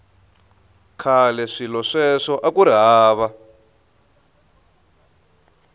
khale swilo sweswo akuri hava